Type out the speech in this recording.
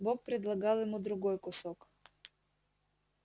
бог предлагал ему другой кусок